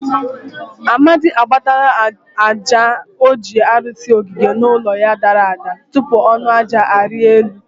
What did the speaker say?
Amadi agbatalari aja o ji arụsi ogige ụlọ ya dara ada. tupu ọnụ aja arịa elu.